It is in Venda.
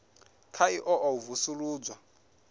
kha ḓi ṱoḓa u vusuludzwa